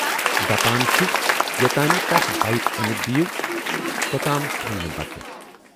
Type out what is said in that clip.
دپان چھُ یوتانۍ نہٕ تَس بایِک ٲنِتھ دِیِو توتام کھییہِ نہٕ بَتہٕ۔